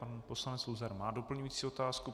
Pan poslanec Luzar má doplňující otázku.